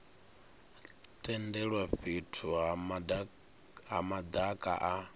tendelwa fhethu ha madaka a